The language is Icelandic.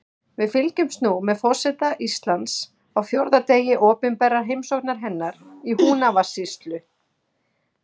Við fylgjumst nú með forseta Íslands á fjórða degi opinberrar heimsóknar hennar í Húnavatnssýslu.